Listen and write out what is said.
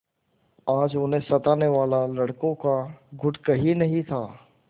आज उन्हें सताने वाला लड़कों का गुट कहीं नहीं था